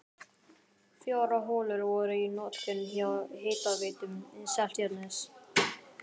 Fjórar holur voru í notkun hjá Hitaveitu Seltjarnarness.